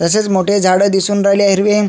तसच मोठे झाड दिसून राहिले हिरवे.